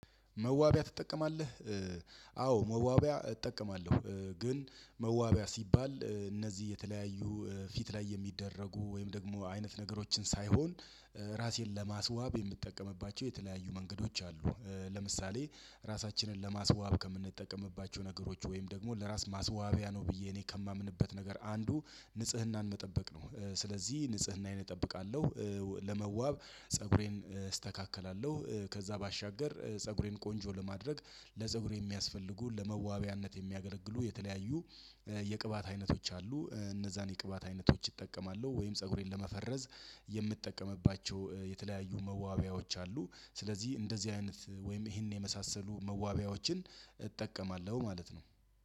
መዋቢያ ትጠቀማለህ? አዎ መዋቢያ እጠቀማለሁ። ግን መዋቢያ ሲባል እነዚህ የተለያዩ ፊት ላይ የሚደረጉ ወይም ደግሞ አይነት ነገሮችን ሳይሆን ራሴን ለማስዋብ የምጠቀምባቸው የተለያዩ መንገዶች አሉ። ለምሳሌ ራሳችንን ለማስዋብ ከምንጠቀምባቸው ነገሮች ወይም ደግሞ ለራስ ማስዋቢያ ነው ብዬ እኔ ከማምንበት ነገር አንዱ ንጽህናን መጠበቅ ነው። ስለዚህ ንጽህናዬን እጠብቃለሁ። ለመዋብ ፀጉሬን እስተካከላለሁ ከዛ ባሻገር ፀጉሬን ቆንጆ ለማድረግ ለፀጉሬ የሚያስፈልጉ ለመዋቢያነት የሚያገለግሉ የተለያዩ የቅባት አይነቶች አሉ። እነዛን የቅባት አይነቶች እጠቀማለሁ ወይም ፀጉሬን ለመፈረዝ የምጠቀምባቸው የተለያዩ መዋቢያዎች አሉ። ስለዚህ እንደዚህ አይነት ወይም ይሄን የመሳሰሉ መዋቢያዎችን እጠቀማለሁ ማለት ነው።